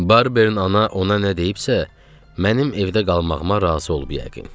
Barbeinin ana ona nə deyibsə, mənim evdə qalmağıma razı olub yəqin.